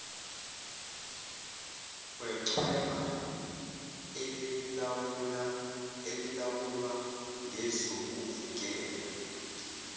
wechweba elilawulwa ngezokuvikela